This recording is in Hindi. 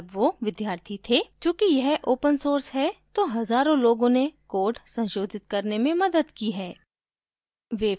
चूँकि यह open source है तो हज़ारों लोगों ने code संशोधित करने में मदद की है